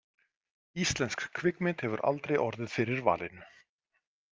Íslensk kvikmynd hefur aldrei orðið fyrir valinu.